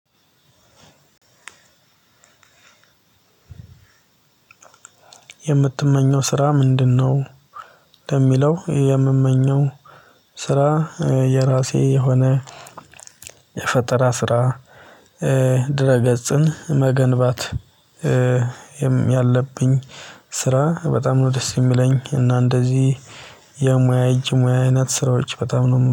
የምትመኘው ስራ ምንድን ነው? ለሚለው የምመኘው ስራ የራሴ የሆነ የፈጠራ ስራ ድህረ ገጽን መገንባት ያለብኝ ስራ በጣም ነው ደስ የሚለኝ። እና እንደዚህ የሙያ እጅ ሙያ አይነት ስራዎች በጣም ነው